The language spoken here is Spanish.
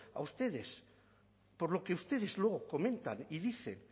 a ustedes por lo que ustedes luego comentan y dicen